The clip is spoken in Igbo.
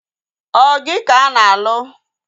Ọ gị ka a na-alụ?